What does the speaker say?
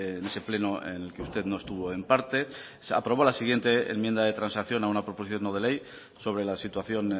en ese pleno en el que usted no estuvo en parte se aprobó la siguiente enmienda de transacción a una proposición no de ley sobre la situación